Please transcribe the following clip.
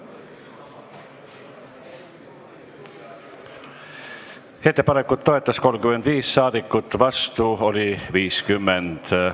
Hääletustulemused Ettepanekut toetas 35 saadikut, vastu oli 50.